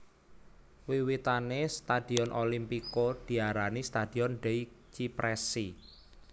Wiwitane stadion Olimpico diarani Stadion dei Cipressi